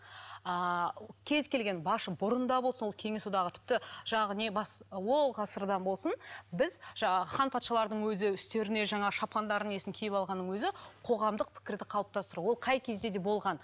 ыыы кез келген бұрында сол кеңес одағы тіпті жаңағы не бас ол ғасырдан болсын біз жаңағы хан патшалардың өзі үстеріне жаңа шапандарын несін киіп алғанның өзі қоғамдық пікірді қалыптастыру ол қай кезде де болған